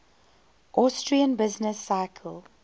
austrian business cycle